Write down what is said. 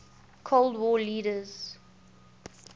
cold war leaders